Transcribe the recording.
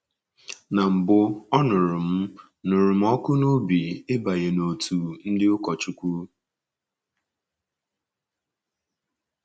Ná mbụ, ọ nụrụ m nụrụ m ọkụ n’obi ịbanye n’òtù ndị ụkọchukwu.